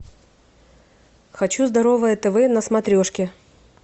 хочу здоровое тв на смотрешке